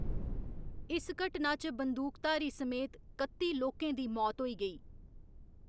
इस घटना च बंदूकधारी समेत कत्ती लोकें दी मौत होई गेई।